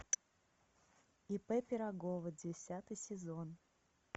ип пирогова десятый сезон